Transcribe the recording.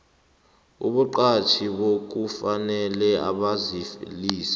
abaqatjhi kufanele bazalise